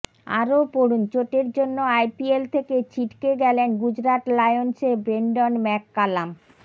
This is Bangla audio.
আরও পড়ুন চোটের জন্য আইপিএল থেকে ছিটকে গেলেন গুজরাট লায়ন্সের ব্রেন্ডন ম্যাককালাম